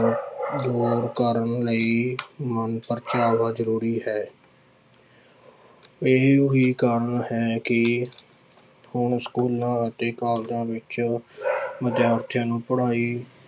ਦੂਰ ਕਰਨ ਲਈ ਮਨ ਪਰਚਾਵਾ ਜ਼ਰੂਰੀ ਹੈ ਇਹੀਓ ਹੀ ਕਾਰਨ ਹੈ ਕਿ ਹੁਣ ਸਕੂਲਾਂ ਅਤੇ ਕਾਲਜਾਂ ਵਿੱਚ ਵਿਦਿਆਰਥੀਆਂ ਨੂੰ ਪੜ੍ਹਾਈ